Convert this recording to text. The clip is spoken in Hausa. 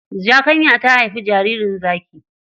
Zakanya ta haifi jaririn zaki.